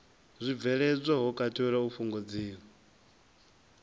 zwibveledzwa ho katelwa u fhungudziwa